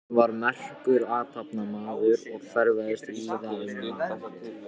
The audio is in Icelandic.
Hann var merkur athafnamaður og ferðaðist víða um land.